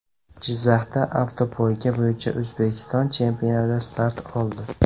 Jizzaxda avtopoyga bo‘yicha O‘zbekiston chempionati start oldi.